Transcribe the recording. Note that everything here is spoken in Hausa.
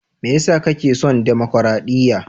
Me ya sa kake son damakaraɗiya?